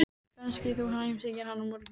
Kannski þú heimsækir hann á morgun?